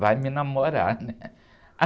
Vai me namorar, né?